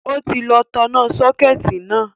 Ó ti lọ tanná sọ́kẹ̀tì náà